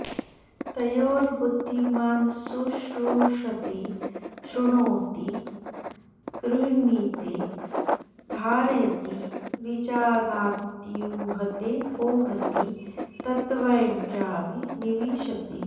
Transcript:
तयोर्बुद्धिमान् शुश्रूषते शृणोति गृह्णीते धारयति विजानात्यूहतेऽपोहति तत्त्वं चाभिनिविशते